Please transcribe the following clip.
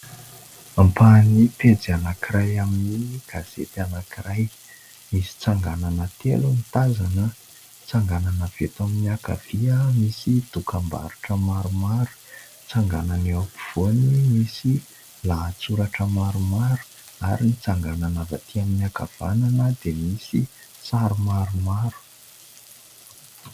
Ampahany pejy anankiray amin' ny gazety anankiray misy tsanganana telo no tazana. Ny tsanganana avy eto amin' ny ankavia misy dokam-barotra maromaro, ny tsanganana eo am-povoany misy lahatsoratra maromaro ary ny tsanganana avy aty amin' ny ankavanana dia misy sary maromaro.